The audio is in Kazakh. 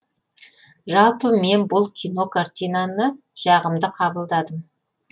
жалпы мен бұл кино картинаны жағымды қабылдадым